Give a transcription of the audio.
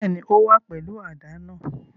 Bẹ́ẹ̀ni, o wa pẹlu àdá náa